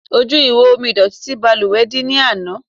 Ojú ihò omi ìdọ̀tí ti ìbalùwẹ̀ dí ní ana.